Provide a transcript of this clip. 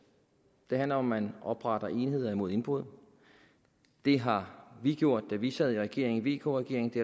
det handler om at man opretter enheder mod indbrud det har vi gjort da vi sad i regering i vk regeringen det